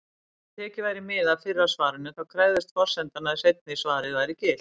Ef tekið væri mið af fyrra svarinu, þá krefðist forsendan að seinna svarið væri gilt.